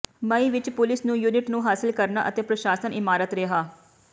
ਮਈ ਵਿਚ ਪੁਲਿਸ ਨੂੰ ਯੂਨਿਟ ਨੂੰ ਹਾਸਲ ਕਰਨਾ ਅਤੇ ਪ੍ਰਸ਼ਾਸਨ ਇਮਾਰਤ ਰਿਹਾ